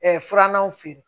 furannanw feere